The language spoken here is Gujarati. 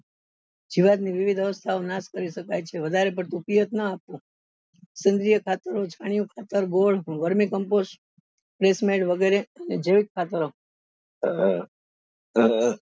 જીવાત ની વિવિધ અવસ્થાઓ નાશ કરી શકાય છે વધારે પડતું નાં આપવું વગરે જીવિત ખાતર અ અ